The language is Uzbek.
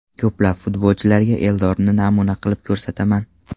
Ko‘plab futbolchilarga Eldorni namuna qilib ko‘rsataman.